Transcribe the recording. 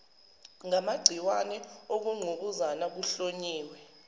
ngamagciwane ukungqubuzana kuhlonyiwe